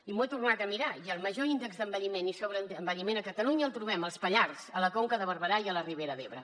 i m’ho he tornat a mirar i el major índex d’envelliment i sobreenvelliment a catalunya el trobem als pallars a la conca de barberà i a la ribera d’ebre